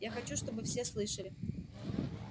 я хочу чтобы все слышали